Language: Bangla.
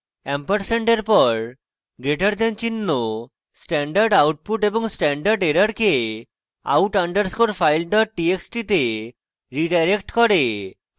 & এর পর greater দেন চিহ্ন stdout এবং stderr কে out underscore file dot txt তে রীডাইরেক্ট করে